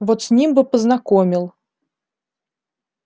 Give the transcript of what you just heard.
вот с ним бы познакомил